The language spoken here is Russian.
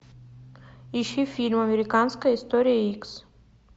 ищи фильм американская история икс